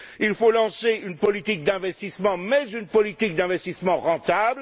il faut lancer une politique d'investissement, mais une politique d'investissement rentable.